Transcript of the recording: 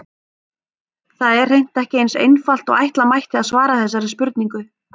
Það er hreint ekki eins einfalt og ætla mætti að svara þessari spurningu.